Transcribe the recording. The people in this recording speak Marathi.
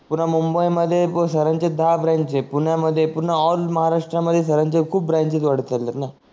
पुन्हा मुंबई मध्ये सर दहा ब्रांच आहे पुण्या मध्ये पूर्ण ऑल महाराष्ट्र मध्ये खूप ब्रांच वाढत चाललेत न